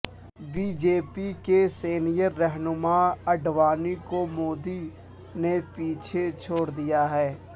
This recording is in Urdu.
بی جے پی کے سینیئر رہنما اڈوانی کو مودی نے پیچھے چھوڑ دیا ہے